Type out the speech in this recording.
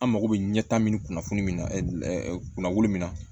An mako bɛ ɲɛ tan min kunnafoni min na kunna wolo min na